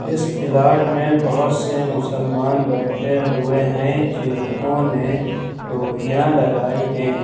इस पिलाट में बहोत से मुसलमान बैठे हुए हैं जिन्होंने टोपिया लगाई है।